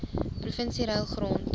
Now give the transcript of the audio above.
provinsie ruil grond